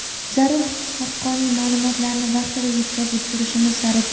zarur haqqoniy ma’lumotlarni vaqtida yetkazib turishimiz zarur.